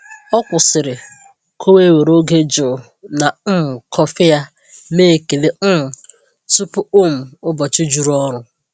Ọ kwụsịrị ka o wee were oge jụụ na um kọfị ya mee ekele um tupu um ụbọchị juru ọrụ.